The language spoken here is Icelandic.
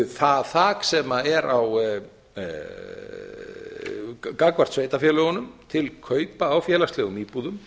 það þak sem er gagnvart sveitarfélögunum til kaupa á félagslegum íbúðum